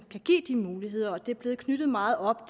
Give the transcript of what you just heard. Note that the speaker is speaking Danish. kan give de muligheder og det er blevet knyttet meget op